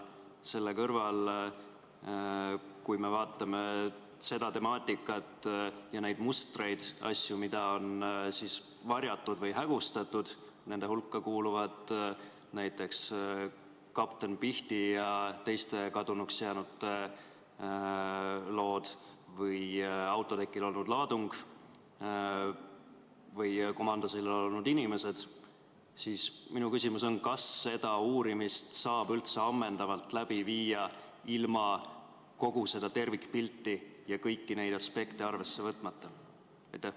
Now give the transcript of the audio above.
Kui me vaatame seda temaatikat, neid mustreid ja asju, mida on varjatud või hägustatud – nende hulka kuuluvad näiteks kapten Pihti ja teiste kadunuks jäänute lood või autotekil olnud laadung või komandosillal olnud inimesed –, siis minu küsimus on: kas seda uurimist saab üldse ammendavalt läbi viia ilma kogu tervikpilti ja kõiki aspekte arvesse võtmata?